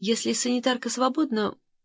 если санитарка свободна